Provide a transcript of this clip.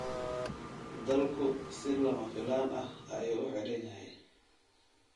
Dalku si lama filaan ah ayuu u xidhan yahay